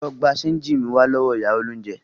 Lọ gba ṣénjì mi wá lọ́wọ́ ìyá olóúnjẹ!